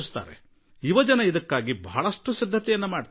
ಎಲ್ಲಾ ಯುವಕರೂ ಇದರ ವ್ಯವಸ್ಥೆಗೆ ಸಾಕಷ್ಟು ಸಿದ್ಧತೆ ಮಾಡುತ್ತಾರೆ